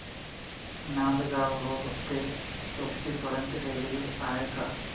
Nandgaon road ते उक्षी पर्यंत railway आहे का